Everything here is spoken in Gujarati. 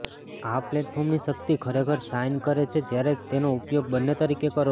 આ પ્લેટફોર્મની શક્તિ ખરેખર શાઇન કરે છે જ્યારે તમે તેનો ઉપયોગ બંને તરીકે કરો છો